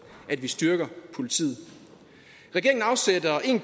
at vi styrker politiet regeringen afsætter en